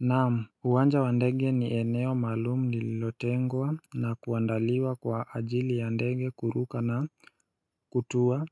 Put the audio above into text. Naam, uwanja wa ndege ni eneo maalumu lililotengwa na kuandaliwa kwa ajili ya ndege kuruka na kutua